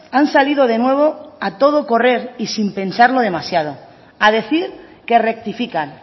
han salido de nuevo y a todo correr y sin pensarlo demasiado a decir que rectifican